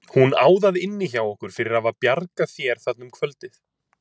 Hún á það inni hjá okkur fyrir að hafa bjargað þér þarna um kvöldið.